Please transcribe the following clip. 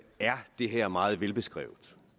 er det her meget velbeskrevet